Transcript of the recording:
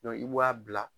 i b'a bila